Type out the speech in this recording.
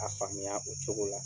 A faamuya o cogo la.